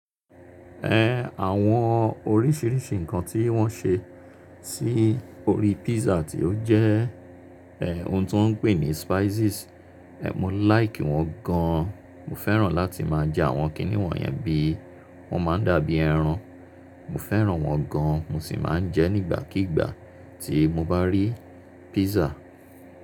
Ẹ̀, àwọn oríṣiríṣi ǹnkan tí wọ́n ṣe sí orí pizza tí ó jẹ́ ẹ̀ ohun tó ń pè ní spices, ẹ́ mo like wọ́n gan. Mo fẹ́ràn láti má a jẹ àwọn kíníwọ̀n yẹn bí wọ́n má a ń dàbí ẹran. Mo fẹ́ràn wọ́n gan mo sì máa ń jẹ nígbàkígbà tí mo bá rí pizza.